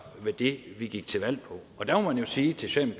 i det vi gik til valg på og der må man jo sige til